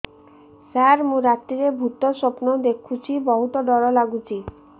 ସାର ମୁ ରାତିରେ ଭୁତ ସ୍ୱପ୍ନ ଦେଖୁଚି ବହୁତ ଡର ଲାଗୁଚି